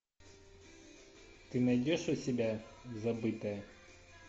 ты найдешь у себя забытое